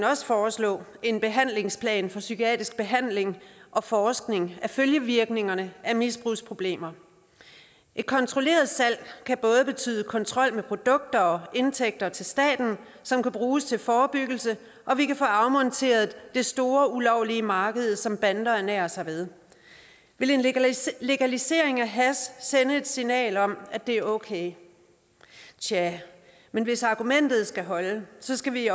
også foreslå en behandlingsplan for psykiatrisk behandling og forskning af følgevirkningerne af misbrugsproblemer et kontrolleret salg kan både betyde kontrol med produkter og indtægter til staten som kan bruges til forebyggelse og vi kan få afmonteret det store ulovlige marked som bander ernærer sig ved vil en legalisering legalisering af hash sende et signal om at det er okay tja men hvis argumentet skal holde skal vi